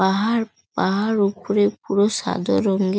পাহাড় পাহাড় ওপরে পুরো সাদা রঙ এ --